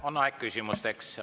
On aeg küsimusteks.